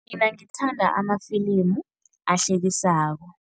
Mina ngithanda amafilimu ahlekisako.